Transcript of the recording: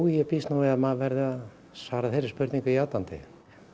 ég býst við að maður verði að svara þeirri spurningu játandi